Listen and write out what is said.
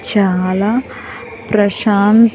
చాలా ప్రశాం--